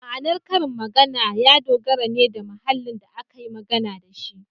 Ma’anar karin magana ya dogara ne da mahallin da aka yi amfani da shi.